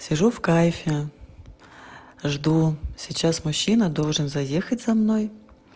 сижу в кайфе жду сейчас мужчина должен заехать за мной